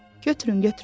Götürün, götürün.